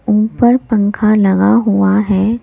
ऊपर पंखा लगा हुआ है।